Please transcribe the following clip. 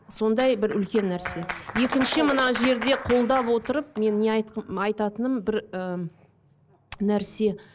сондай бір үлкен нәрсе екінші мына жерде қолдап отырып мен не айт айтатыным бір ы нәрсе